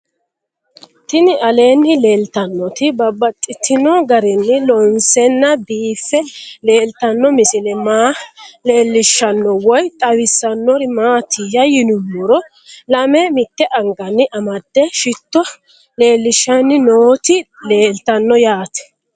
Tinni aleenni leelittannotti babaxxittinno garinni loonseenna biiffe leelittanno misile maa leelishshanno woy xawisannori maattiya yinummoro lame mitte anganni amade shitto leelishanni nootti leelittanno yaatte